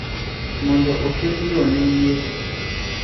mondo oket yo ne yiero,